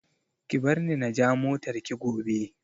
Ki bar ni na ja motar ki gobe